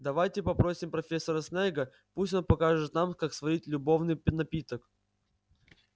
давайте попросим профессора снегга пусть он покажет нам как сварить любовный напиток